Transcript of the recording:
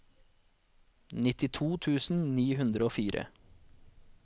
nittito tusen ni hundre og fire